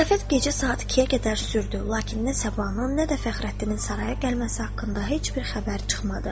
Ziyafət gecə saat 2-yə qədər sürdü, lakin nə Sabahın, nə də Fəxrəddinin saraya gəlməsi haqqında heç bir xəbər çıxmadı.